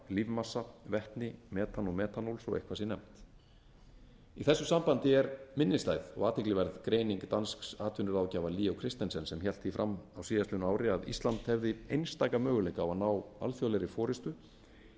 lífmassa vetni metan og metanól svo eitthvað sé nefnt í þessu sambandi er minnisstæð og athyglisverð greining dansks atvinnuráðgjafa leo christensens sem hélt því fram á síðastliðnu ári að ísland hefði einstaka möguleika á að ná alþjóðlegri forustu